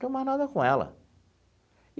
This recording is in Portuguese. Não tem mais nada com ela.